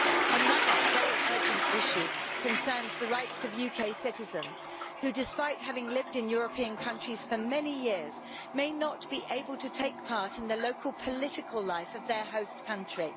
Another very urgent issue concerns the rights of UK citizens who, despite having lived in European countries for many years, may not be able to take part in the local political life of their host country.